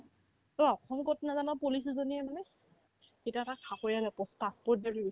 তই অসম ক'ত নাজান police এজনীয়ে মানে সিটো এটা চাকৰিয়ালে কা post graduate